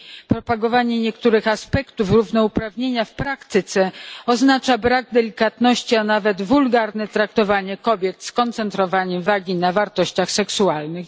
Propagowanie niektórych aspektów równouprawnienia w praktyce oznacza brak delikatności, a nawet wulgarne traktowanie kobiet, skoncentrowanie uwagi na wartościach seksualnych.